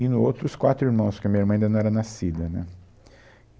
E no outro, os quatro irmãos, porque a minha irmã ainda não era nascida, né?